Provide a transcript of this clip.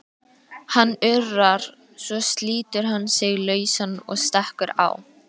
Hann urrar, svo slítur hann sig lausan og stekkur á